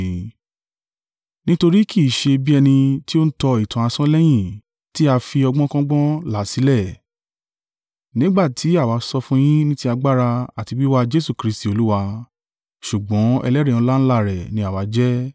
Nítorí kì í ṣe bí ẹni tí ó ń tọ ìtàn asán lẹ́yìn tí a fi ọgbọ́nkọ́gbọ́n là sílẹ̀, nígbà tí àwa sọ fún yín ní ti agbára àti wíwá Jesu Kristi Olúwa, ṣùgbọ́n ẹlẹ́rìí ọláńlá rẹ̀ ni àwa jẹ́.